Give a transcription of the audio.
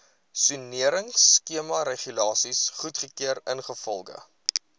soneringskemaregulasies goedgekeur ingevolge